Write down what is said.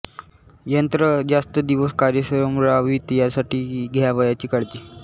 यंत्र जास्त दिवस कार्यक्षम रहावीत यासाठी घ्यावयाची काळजी